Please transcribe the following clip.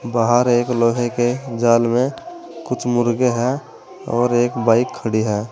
बाहर एक लोहे के जाल में कुछ मुर्गे हैं और एक बाइक खड़ी है।